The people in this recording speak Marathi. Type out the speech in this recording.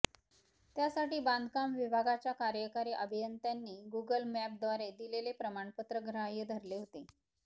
त्यासाठी बांधकाम विभागाच्या कार्यकारी अभियंत्यांनी गुगल मॅपद्वारे दिलेले प्रमाणपत्र ग्राह्य धरले होते